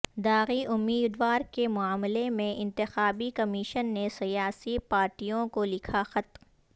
داغی امیدوار کے معاملے میں انتخابی کمیشن نے سیاسی پارٹیوں کو لکھا خط